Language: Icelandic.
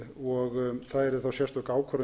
og það yrði þá sérstök ákvörðun